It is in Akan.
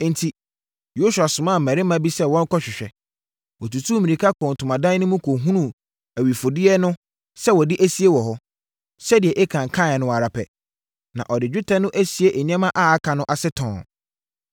Enti, Yosua somaa mmarima bi sɛ wɔnkɔhwehwɛ. Wɔtutuu mmirika kɔɔ ntomadan no mu kɔhunuu awifodeɛ no sɛ wɔde asie wɔ hɔ, sɛdeɛ Akan kaeɛ no ara pɛ, na ɔde dwetɛ no asie nneɛma a aka no ase tɔnn.